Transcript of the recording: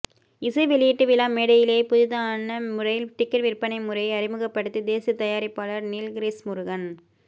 இசை வெளியீட்டு விழா மேடையிலேயே புதிதான முறையில் டிக்கெட் விற்பனை முறையை அறிமுகப்படுத்திப் பேசிய தயாரிப்பாளர் நீல்கிரிஸ் முருகன்